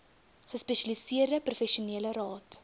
gespesialiseerde professionele raad